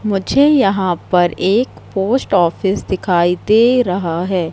मुझे यहां पर एक पोस्ट ऑफिस दिखाई दे रहा है।